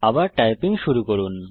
আবার টাইপিং শুরু করুন